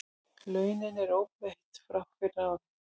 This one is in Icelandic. Launin eru óbreytt frá fyrra ári